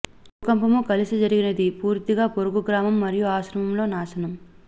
భూకంపము కలిసి జరిగినది పూర్తిగా పొరుగు గ్రామం మరియు ఆశ్రమంలో నాశనం